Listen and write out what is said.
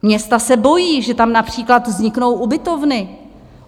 Města se bojí, že tam například vzniknou ubytovny.